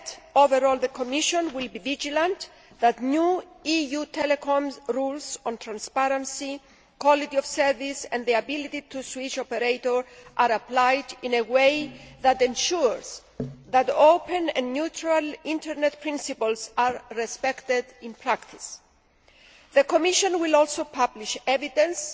Overall, the Commission will be vigilant that new EU telecoms rules on transparency, quality of service and the ability to switch operator are applied in a way that ensures that open and neutral internet principles are respected in practice. The Commission will also publish evidence